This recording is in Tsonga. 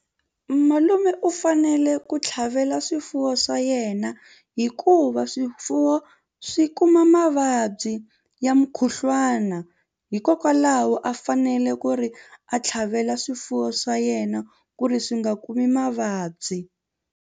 Malume u fanele ku tlhavela swifuwo swa yena hikuva swifuwo swi kuma mavabyi ya mukhuhlwana hikokwalaho a fanele ku ri a tlhavela swifuwo swa yena ku ri swi nga kumi mavabyi.